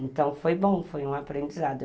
Então foi bom, foi um aprendizado.